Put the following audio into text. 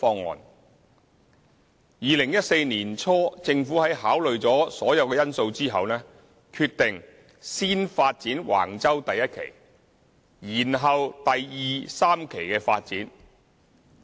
在2014年年初政府於考慮所有因素後，決定先發展橫洲第1期，延後第2、3期的發展。